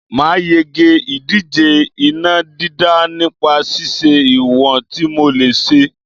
Màá yege ìdíje iná dídá nípa ṣíṣe ìwọ̀n tí mò lè ṣe